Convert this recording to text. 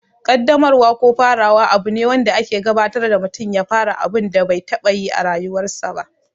Ƙaddamarwa ko farawa abu ne wanda ake gabatar da mutum ya fara abun da bai taɓa yi a rayuwarsa ba.